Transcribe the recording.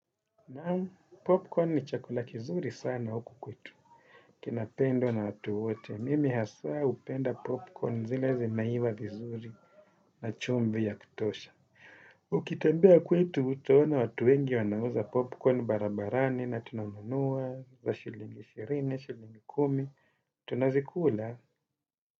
Naam, popcorn ni chakula kizuri sana huku kwetu, kinapendwa na watu wote, mimi hasa upenda popcorn zile zimeiva vizuri na chumvi ya kutosha. Ukitembea kwetu utaona watu wengi wanauza popcorn barabarani na tunanunua kwa shilingi shirini, shilingi kumi, tunazikula.